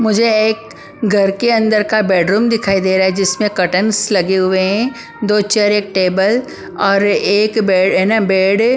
मुझे एक घर के अंदर का बेडरूम दिखाई दे रहा है जिसमें कर्टंस लगे हुए हैं दो चेयर एक टेबल और एक बेड ना बेड है ।